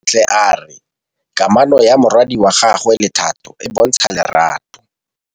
Bontle a re kamanô ya morwadi wa gagwe le Thato e bontsha lerato.